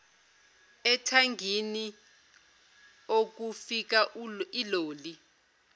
ethangini okufika iloli